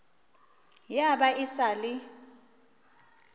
ya ba e sa le